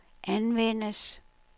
anvendes